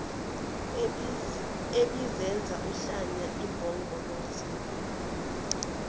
ebizenza uhlanya impongoloza